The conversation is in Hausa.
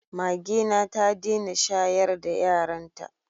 Magena ta dena shayar da yaran ta